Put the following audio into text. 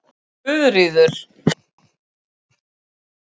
Guðríður